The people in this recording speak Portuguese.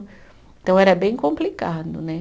Então, era bem complicado, né?